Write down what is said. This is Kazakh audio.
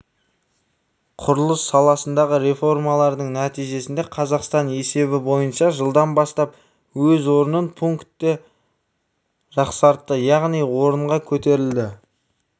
құрылыс саласындағы реформалардың нәтижесінде қазақстан есебі бойынша жылдан бастап өз орнын пунктке жақсартты яғни орынға көтерілді